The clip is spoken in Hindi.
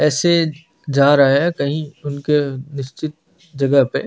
ऐसी जा रहे है कहि उनके उनके निश्चित जगह पे--